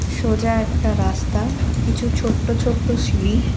সোজা একটা রাস্তা কিছু ছোট্ট ছোট্ট সিঁড়ি।